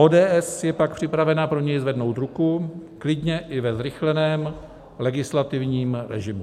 ODS je pak připravena pro něj zvednout ruku klidně i ve zrychleném legislativním režimu.